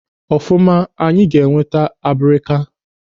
Ọfumanụ, anyị ga enweta abrika.